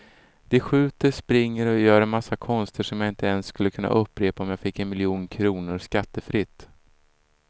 De skjuter, springer och gör en massa konster som jag inte ens skulle kunna upprepa om jag fick en miljon kronor skattefritt.